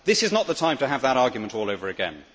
This is not the time to have that argument all over again.